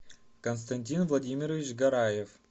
константин владимирович гараев